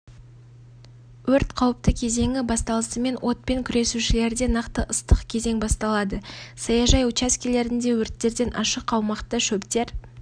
өрт қауіпті кезеңі басталысымен отпен күресушілерде нақты ыстық кезең басталады саяжай учаскелеріндегі өрттерден ашық аумақта шөптер